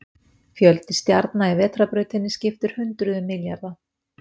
Fjöldi stjarna í Vetrarbrautinni skiptir hundruðum milljarða.